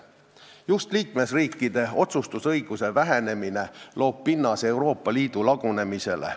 Just liikmesriikide otsustusõiguse vähenemine loob pinnase Euroopa Liidu lagunemisele.